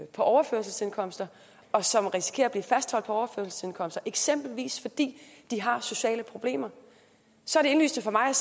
på overførselsindkomster og som risikerer at blive fastholdt på overførselsindkomster eksempelvis fordi de har sociale problemer så er det indlysende for mig